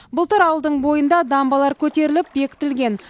былтыр ауылдың бойында дамбалар көтеріліп бекітілген